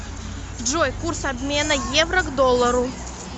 джой курс обмена евро к доллару